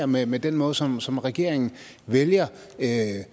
med med den måde som som regeringen vælger at